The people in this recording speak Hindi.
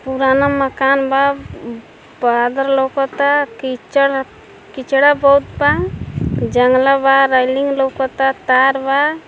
पुराना मकान बा। उम्म बादल लउकता। कीचड़ कीचड़ा बहुत बा। जंगला बा। रेलिंग लउकता। तार बा।